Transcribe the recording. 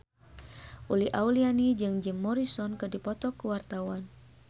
Uli Auliani jeung Jim Morrison keur dipoto ku wartawan